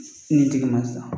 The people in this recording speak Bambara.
Ni tigi ma sisan.